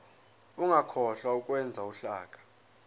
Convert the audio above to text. ungakhohlwa ukwenza uhlaka